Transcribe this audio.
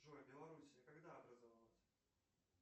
джой белоруссия когда образовалась